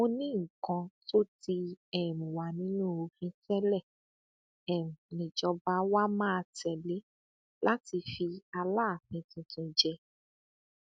mo ní nǹkan tó ti um wà nínú òfin tẹlẹ um níjọba wa máa tẹlé láti fi aláàfin tuntun jẹ